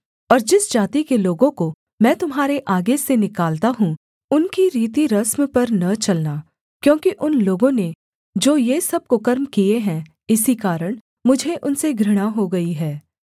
और जिस जाति के लोगों को मैं तुम्हारे आगे से निकालता हूँ उनकी रीतिरस्म पर न चलना क्योंकि उन लोगों ने जो ये सब कुकर्म किए हैं इसी कारण मुझे उनसे घृणा हो गई है